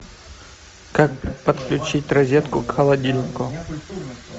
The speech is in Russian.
как подключить розетку к холодильнику